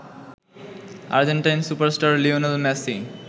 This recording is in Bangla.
Argentine super star Lionel Messi